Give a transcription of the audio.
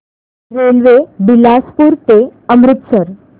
railway Bilaspur ते अमृतसर